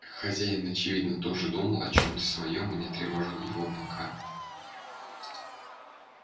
хозяин очевидно тоже думал о чем-то своём и не тревожил его пока